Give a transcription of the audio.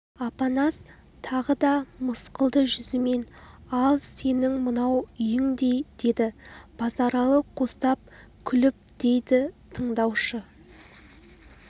апанас тағы да мысқылды жүзімен ал сенің мынау үйіндей деді базаралы қостап күліп дейді тыңдаушы